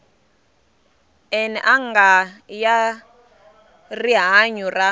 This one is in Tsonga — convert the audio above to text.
n anga ya rihanyu ra